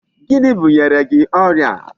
Gịnị bunyere gị ọrịa?